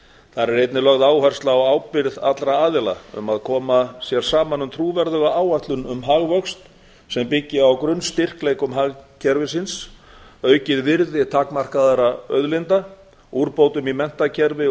þar er einnig lögð áhersla á ábyrgð allra aðila um að koma sér saman um trúverðuga áætlun um hagvöxt sem byggir á grunnstyrkleikum hagkerfisins aukið virði takmarkaðra auðlinda úrbótum í menntakerfi og